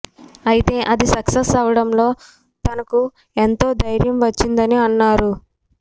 అయితే అది సక్సెస్ అవడంతో తనకు ఎంతో ధైర్యం వచ్చిందని అన్నారు